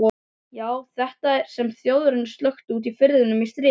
Já, þetta sem Þjóðverjar sökktu úti í firðinum í stríðinu.